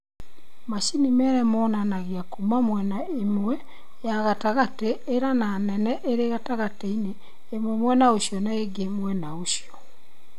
Macini mere monanagia kuuma mwena imwe ya gatagate ĩra nĩ nene ĩrĩ gatagatĩ-inĩ, ĩmwe mwena ũcio na ĩngĩ mwena ũcio.